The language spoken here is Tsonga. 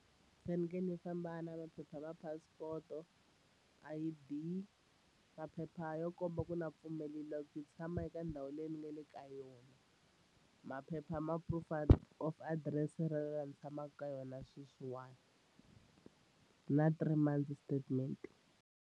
Ni fanekele ni famba na maphepha ma-passport-o, I_D maphepha yo komba ku na pfumeleliwa ku tshama eka ndhawu leyi ni nga le ka yona maphepha ma proof of of adirese ra laha ndzi tshamaka ka yona sweswiwani na three months statement.